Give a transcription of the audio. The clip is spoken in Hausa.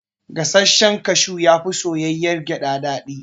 Gasashshen kashu yafi soyayyar gyada daɗi